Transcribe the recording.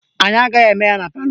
Anyị agaghị eme ya na palọ